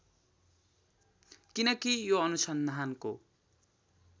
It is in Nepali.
किनकि यो अनुसन्धानको